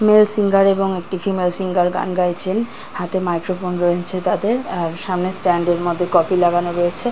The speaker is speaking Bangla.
মেল্ সিঙ্গার এবং একটি ফিমেল সিঙ্গার গান গাইছেন হাতে মাইক্রোফোন রয়েছে তাদের আর সামনে স্ট্যান্ড এর মধ্যে কপি লাগানো রয়েছে। ।